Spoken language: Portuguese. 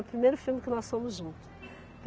O primeiro filme que nós fomos juntos.